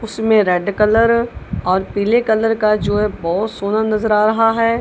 उसमें red colour और पीले कलर का जो है बहोत सोनार नजर आ रहा है।